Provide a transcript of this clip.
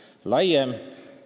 See peab olema valijale arusaadavam.